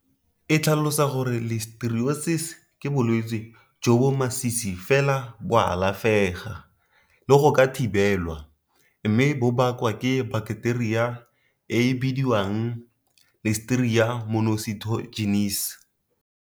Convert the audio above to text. E tlhalosa gore Listeriosis ke bolwetse bo jo masisi fela bo alafega le go ka thibelwa mme bo bakwa ke baketeria e e bidiwang Listeria monocytogenes.